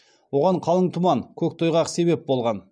оған қалың тұман көктайғақ себеп болған